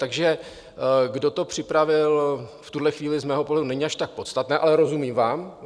Takže kdo to připravil, v tuhle chvíli z mého pohledu není až tak podstatné, ale rozumím vám.